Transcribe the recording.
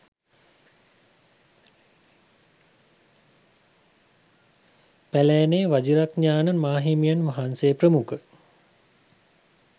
පැළෑනේ වජිරඤාණ මාහිමියන් වහන්සේ ප්‍රමුඛ